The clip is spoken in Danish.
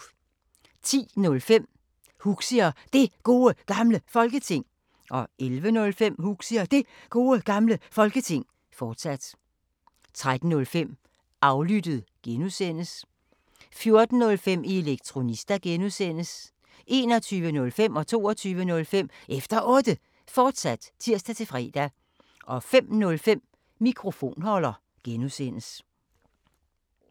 10:05: Huxi og Det Gode Gamle Folketing 11:05: Huxi og Det Gode Gamle Folketing, fortsat 13:05: Aflyttet G) 14:05: Elektronista (G) 21:05: Efter Otte, fortsat (tir-fre) 22:05: Efter Otte, fortsat (tir-fre) 05:05: Mikrofonholder (G)